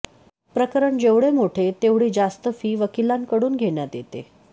प्रकरण जेवढे मोठे तेवढी जास्त फी वकिलांकडून घेण्यात येते